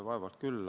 Vaevalt küll.